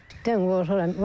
İtdən qorxuram.